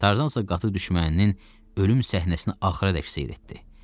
Tarzansa qatı düşməninin ölüm səhnəsinə axıra qədər seyr etdi.